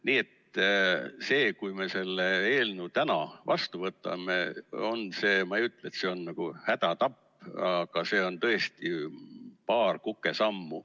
Nii et see, kui me selle eelnõu täna vastu võtame, no ma ei ütle, et see on nagu hädatapp, aga see on tõesti paar kukesammu.